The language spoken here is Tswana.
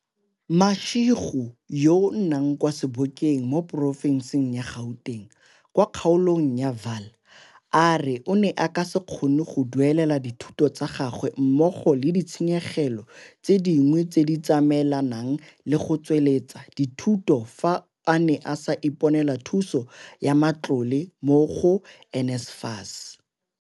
Mashego yo a nnang kwa Sebokeng mo porofenseng ya Gauteng kwa kgaolong ya Vaal a re o ne a ka se kgone go duelela dithuto tsa gagwe mmogo le di tshenyegelo tse dingwe tse di tsamaelanang le go tsweletsa dithuto fa a ne a sa iponela thuso ya matlole mo go NSFAS.